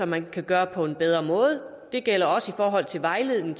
man kan gøre på en bedre måde det gælder også i forhold til vejledning